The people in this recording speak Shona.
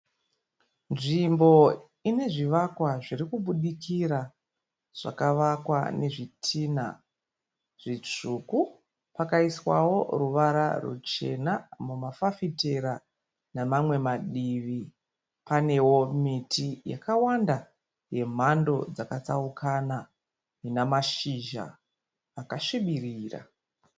Nzvimbo ine zvivakwa zvirikubudikra zvakavakwa nezvitinha zvitsvuku pakaiswawo ruvara ruchena mumafafitera nemamwe madivi. Panewo miti yakawanda yemhandu dzakatsukana ina mashizha akasvibirira.